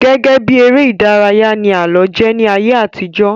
Gẹ́gẹ́bí ère ìdárayá ni àálọ́ jẹ́ ní ayé àtijọ́